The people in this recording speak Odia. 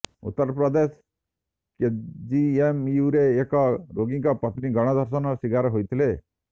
ଉତ୍ତରପ୍ରଦେଶ କେଜିଏମୟୁରେ ଏକ ରୋଗୀଙ୍କ ପତ୍ନୀ ଗଣଧର୍ଷଣ ଶୀକାର ହୋଇଥିଲେ